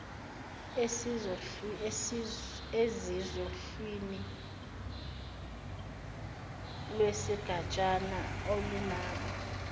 ezisohlwini lwesigatshana alunabo